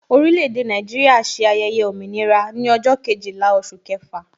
Orile-ede Naijiria ṣe ayẹyẹ òmìnira ní ọjọ́ Kejìlá oṣù kẹfà